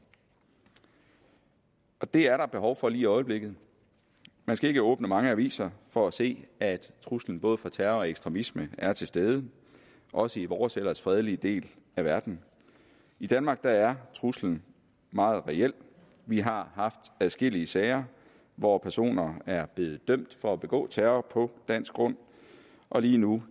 det er der behov for lige i øjeblikket man skal ikke åbne mange aviser for at se at truslen både fra terror og ekstremisme er til stede også i vores ellers fredelige del af verden i danmark er truslen meget reel vi har haft adskillige sager hvor personer er blevet dømt for at begå terror på dansk grund og lige nu